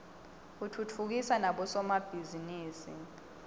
utfutfukisa nabo somabhizinisi